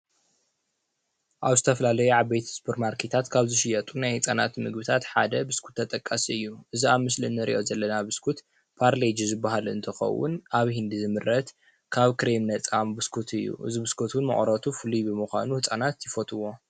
ኣብ ዝተፈላለዩ ዓበይቲ ስፐርማርኬታት ካብ ዝሽየጡ ናይ ህፃናት ምግብታ ሓደ ብስኩት ተጠቃሲ እዩ፡፡ እዚ ኣብ ምስሊ እነሪኦ ዘለና ብስኩት ባርሌጅ ዝባሃል እንትኸውን ኣብ ህንዲ ዝምረት ካብ ክሬም ነፃ ብስኩት እዩ፡፡ እዚ ብስኩት ውን መቐረቱ ፍሉይ ብምዃኑ ህፃናት ይፈትውዎ፡፡